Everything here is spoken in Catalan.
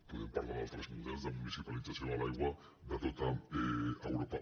podem parlar d’altres models de municipalització de l’aigua de tot europa